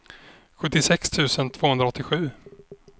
sjuttiosex tusen tvåhundraåttiosju